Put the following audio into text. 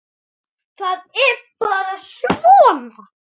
Það er bara svona!